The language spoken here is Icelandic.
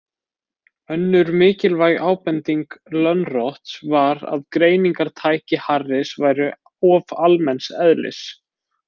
Önnur mikilvæg ábending Lönnroths var að greiningartæki Harris væru of almenns eðlis.